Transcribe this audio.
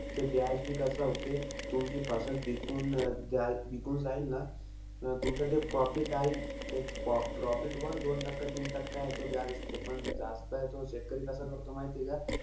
ते बी कसं होते. तुमची बिकून जा बिकून जाईल ना, अं तुमचं ते profit आईल, ते pro profit वर दोन टक्का-तीन टक्का असते. पण जास्त हे तो शेतकरी कसा करतो माहिती का,